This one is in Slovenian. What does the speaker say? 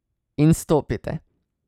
In stopite.